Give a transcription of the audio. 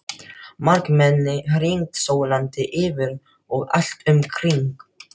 Margmennið hringsólandi yfir og allt um kring.